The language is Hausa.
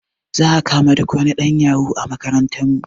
Za a kama duk wani ɗan yahu a makarantar mu